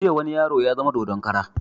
Jiya wani yaro ya zama dodon kara